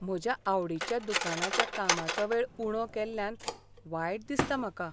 म्हज्या आवडीच्या दुकानाच्या कामाचो वेळ उणो केल्ल्यान वायट दिसता म्हाका.